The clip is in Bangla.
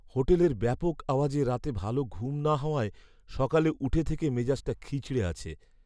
হোটেলের ব্যাপক আওয়াজে রাতে ভালো ঘুম না হওয়ায় সকালে উঠে থেকে মেজাজটা খিঁচড়ে আছে।